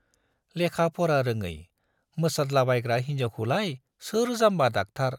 लेखा-फरा रोङै मोसादलाबायग्रा हिन्जावखौलाय सोर जाम्बा डाक्टार